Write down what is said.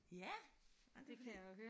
Ja! Ej men det er fordi